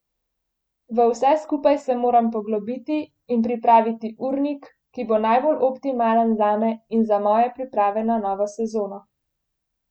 V vse skupaj se moram poglobiti in pripraviti urnik, ki bo najbolj optimalen zame in za moje priprave na novo sezono.